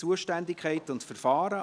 Zuständigkeit und Verfahren